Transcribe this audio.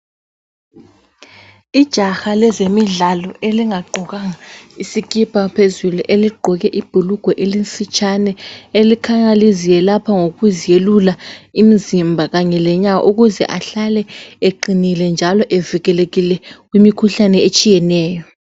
Ijaha lezemidlalo elingagqokanga isikipa phezulu eligqoke ibhulugwe elifitshane elikhanya liziyelapha ngokuzelula imzimba kanye lenyawo ukuze ahlale eqinile njalo evikelekile kumikhuhlane etshiyeneyo.